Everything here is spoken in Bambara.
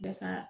Bɛɛ ka